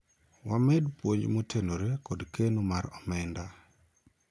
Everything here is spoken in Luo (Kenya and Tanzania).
wamed puonj motenore kod keno mar omenda